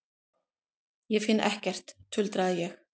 Ég finn ekkert, tuldraði ég.